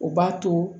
O b'a to